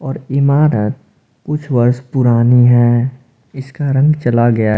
और इमारत कुछ वर्ष पुरानी है इसका रंग चला गया--